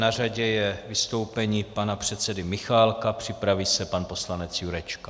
Na řadě je vystoupení pana předsedy Michálka, připraví se pan poslanec Jurečka.